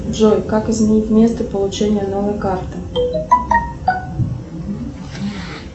джой как изменить место получения новой карты